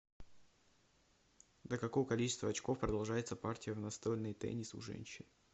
до какого количества очков продолжается партия в настольный теннис у женщин